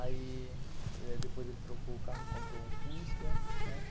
Aí, depois ele trocou o carro, comprou um Fusca, né?